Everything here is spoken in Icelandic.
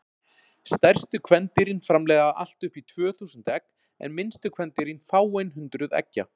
Stærstu kvendýrin framleiða allt upp í tvö þúsund egg en minnstu kvendýrin fáein hundruð eggja.